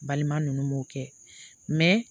Balima ninnu m'o kɛ